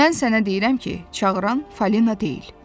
Mən sənə deyirəm ki, çağıran Falina deyil.